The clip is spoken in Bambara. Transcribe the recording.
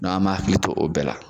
an m'a hakili to o bɛɛ la.